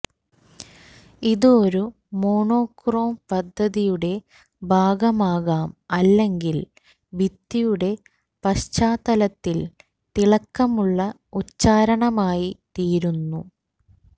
ഇത് ഒരു മോണോക്രോം പദ്ധതിയുടെ ഭാഗമാകാം അല്ലെങ്കിൽ ഭിത്തിയുടെ പശ്ചാത്തല പശ്ചാത്തലത്തിൽ തിളക്കമുള്ള ഉച്ചാരണമായി തീരുന്നു